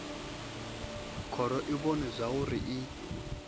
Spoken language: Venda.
khoro i vhona zwauri i